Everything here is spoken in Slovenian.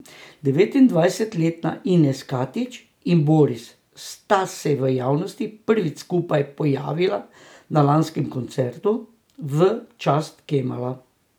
Devetindvajsetletna Ines Katić in Boris sta se v javnosti prvič skupaj pojavila na lanskem koncertu v čast Kemala.